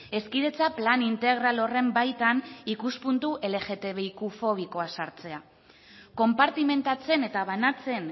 hezkidetza plan integral honen baitan ikuspuntu lgtbiqfobikoa sartzea konpartimentatzen eta banatzen